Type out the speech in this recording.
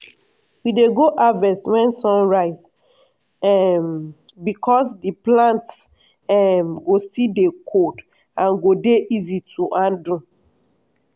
we dey go harvest wen sun rise um becos di plants um go still dey cold and go dey easy to handle.